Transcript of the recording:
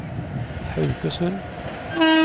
Haugesund